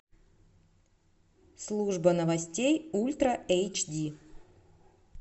служба новостей ультра эйч ди